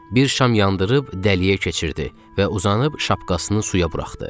Bir şam yandırıb dəliyə keçirtdi və uzanıb şapkasını suya buraxdı.